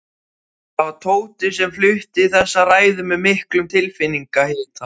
Það var Tóti sem flutti þessa ræðu með miklum tilfinningahita.